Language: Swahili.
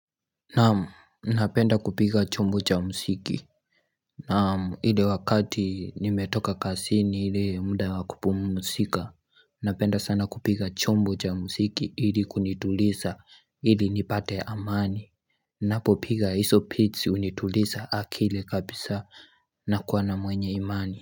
Naam, napenda kupiga chombo cha mziki Naam, ile wakati nimetoka kazini ile muda wakupumuzika Napenda sana kupiga chombo cha mziki ili kunituliza Ili nipate amani Napopiga hizo beas hunituliza akila kabisaa na kuwa na mwenye imani.